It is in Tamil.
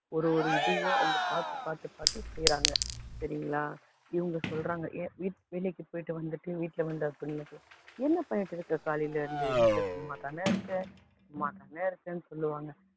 ஒவ்வொரு இதையும் அவங்க பாத்து பாத்து செய்றாங்க சரிங்களா, இவங்க சொல்றாங்க வீ~ வேலைக்கு போய்ட்டு வந்துட்டு வீட்ல வந்து husband சொல்றாங்க, சும்மா தான இருக்க சும்மா தான இருக்கன்னு சொல்லுவாங்க.